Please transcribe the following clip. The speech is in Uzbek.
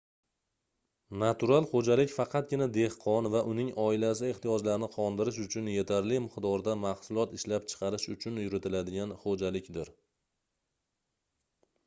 natural xoʻjalik faqatgina dehqon va uning oilasi ehtiyojlarini qondirish uchun yetarli miqdorda mahsulot ishlab chiqarish uchun yuritiladigan xoʻjalikdir